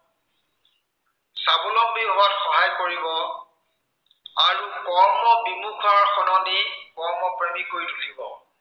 স্বাৱলম্বী হোৱাত সহায় কৰিব আৰু কৰ্মবিমুখৰ সলনি, কৰ্ম প্ৰান্দ্ৰিক কৰি তুলিব।